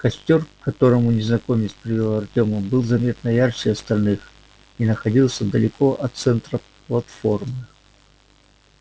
костёр к которому незнакомец привёл артёма был заметно ярче остальных и находился далеко от центра платформы